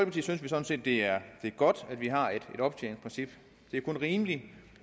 vi sådan set det er godt at vi har et optjeningsprincip det er kun rimeligt